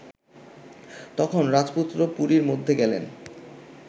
তখন রাজপুত্র পুরীর মধ্যে গেলেন